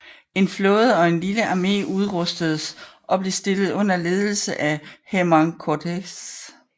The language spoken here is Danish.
En flåde og en lille armé udrustedes og blev stillet under ledelse af Hernán Cortés